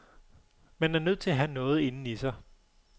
Man er nødt til have noget inden i sig.